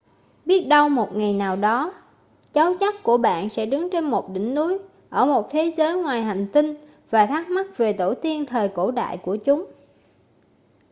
biết đâu một ngày nào đó cháu chắt của bạn sẽ đứng trên một đỉnh núi ở một thế giới ngoài hành tinh và thắc mắc về tổ tiên thời cổ đại của chúng